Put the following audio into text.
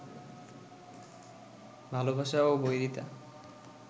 ভালোবাসা ও বৈরিতা